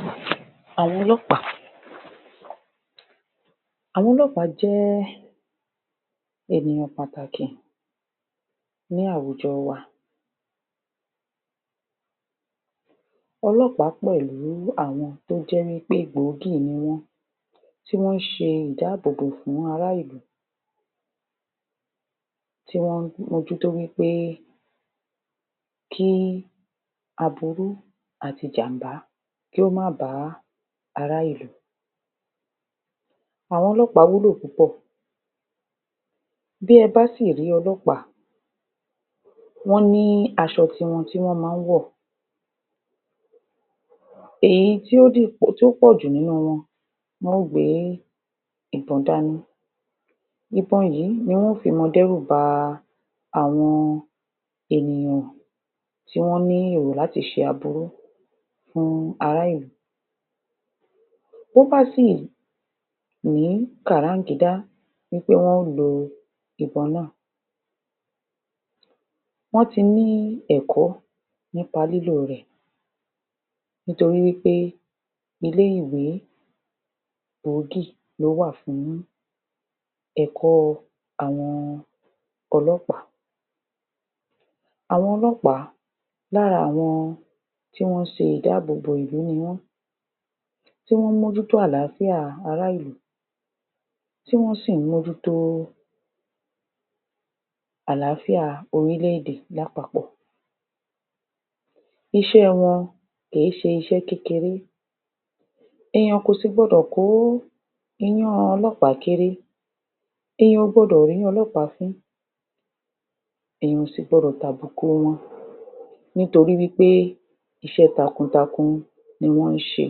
? Àwọn ọlọ́ọ̀pá. Àwọn ọlọ́ọ̀pá jẹ́ ènìyàn pàtàkì ní àwùjọ wa ní àwùjọ wa ọlọ́ọ̀pá pẹ̀lú áwọn tó jẹ́ wí pé gbòógì ni wọ́n tí wọ́n ṣe ìdábòbò fún ara ìlú, tí wọ́n mójútó wí pé kí í aburú àti ìjànbá kó má bá ara ìlú àwọ̀n ọlọ́ọpá wúlò púpọ̀ áwọn ọlọ́ọ̀pá wúlò púpọ̀ bí ẹ bá sì rí ọlọ́ọ̀pá wọ́n ní asọ ti wọn tí wọ́n má wọ̀ wọ́n ní asọ ti wọn tí wọ́n má wọ̀ èyí tó? pòjù nínú wọn wọn gbé ìbon dání, ìbon yíì ni wọ́n yóò ma fi dẹ́rùba ba àwọn ènìyàn tí wọ́n ní èrò láti ṣe aburú fún ara ìlú to ́ bá sì ní kàràgídá wí pé wọ́n lo ìbon náà wọ́n tí ní ẹ̀kọ́ nípa lílò rè nítorí wí pé ilé – ìwé gbòógì ló wà fún ẹ̀kọ́ àwọn ọlọ́ọ̀pá àwọn ọlọ́ọ̀pá lára àwọn tí wọ́n ṣe ìdábòbò ìlú ni wọ́n tí wọ́n mójútó àlááfíà ará ìlú tí wọ́n mójútó àlááfíà ará ìlú tí wọ́n sì mójútó àlááfíà orílè – èdè lápàpò Iṣẹ́ wọ́n kì í ṣe iṣẹ́ kékeré ènìyàn kò sì gbọdọ̀ kó iyán ọlóòpá kéré ènìyàn kò gbọdọ̀ rí ọlọ́ọ̀pá fín ènìyàn kò sì gbọdọ̀ tàbùkù wọn nítorí wí pé iṣẹ́ takutaku ni wọ́n ṣe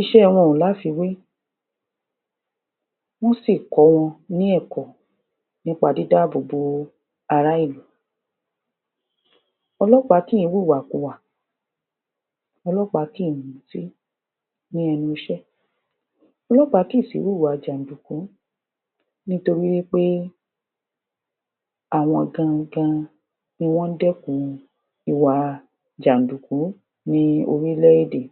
Iṣẹ́ wọn kò láfiwé wọ́n sì kó wọn ní ẹ̀kọ́ nípa dídáàbò bo ara ìlú. ọlọ́ọ̀pá kì í wu ìwàkiwà ọlọ́ọ̀pá kì í wu ìwàkiwà ọlọ́ọ̀pá kì í mutí ní ẹnu –iṣẹ́, ọ̀lọ́ọ̀pá kì í sì wùwà jàdùkú nítorí wí pé àwọn gangan ni wọ́n dẹ́ku ìwà jàdùkú ní orílè – èdè.